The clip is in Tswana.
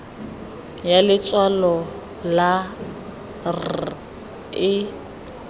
ya letshwalo la r e